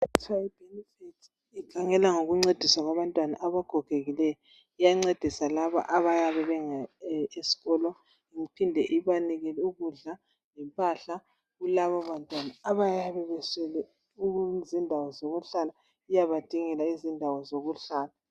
kuthwa yi Bienfait ikhangela ngokuncedisa abantwana abagogekileyo iyancedisa labo abayabe esikolo iphinde ibanike ukudla lempahla kulabo bantwana abayabe beswele izindawo zokuhlala iyabadingela izindawo zokuhlala